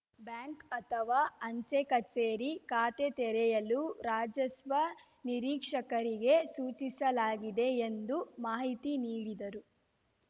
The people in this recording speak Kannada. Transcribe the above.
ಬ್ಯಾಂಕ್‌ ಅಥವಾ ಅಂಚೆ ಕಚೇರಿ ಖಾತೆ ತೆರೆಯಲು ರಾಜಸ್ವ ನಿರೀಕ್ಷಕರಿಗೆ ಸೂಚಿಸಲಾಗಿದೆ ಎಂದು ಮಾಹಿತಿ ನೀಡಿದರು